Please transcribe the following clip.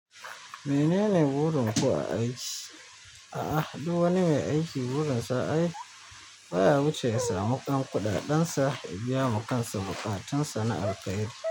Menene burinku a aiki? A ah, duk wani mai aiki, gurinsa ai, baya wuce ya samu ƴan kuɗaɗensa ya biyama kansa buƙatunsa na alkairi.